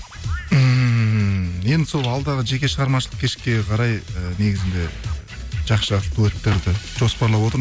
ммм енді сол алдағы жеке шығармашылық кешке қарай ы негізінде жақсы жақсы дуэттерді жоспарлап отырмын